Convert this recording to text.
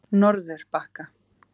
Norðurbakka